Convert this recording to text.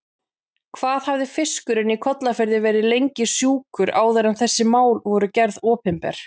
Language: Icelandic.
Hvað hafði fiskurinn í Kollafirði verið lengi sjúkur áður en þessi mál voru gerð opinber?